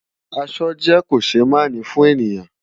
Aṣọ jè kóṣémáni fùn éniyán